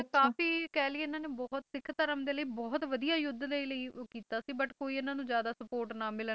ਲੇਕਿਨ ਕਾਫੀ ਕਹਿ ਲੀਏ ਇਨ੍ਹਾਂ ਨੇ ਬਹੁਤ ਸਿੱਖ ਧਰਮ ਦੇ ਲਈ ਬਹੁਤ ਵਧੀਆ ਯੁੱਧ ਦੇ ਲਈ ਉਹ ਕੀਤਾ ਸੀ but ਕੋਈ ਇਨ੍ਹਾਂ ਨੂੰ ਜਿਆਦਾ ਸਪੋਰਟ ਨਾ ਮਿਲਣ